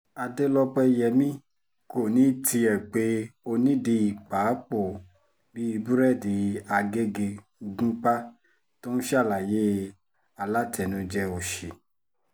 adélọ́pẹ́yẹmi kò ní tiẹ̀ pe onídìí pa pọ̀ọ́ bíi búrẹ́dì agege gúnpá tó ń ṣalaye alátẹnujẹ òsì